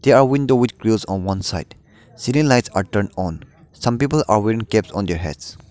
a window with grills on one side ceiling lights are turned on some people are wearing caps on their heads.